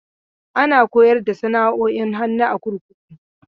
Ana koyar da sana'o'in hannu a kurkuku.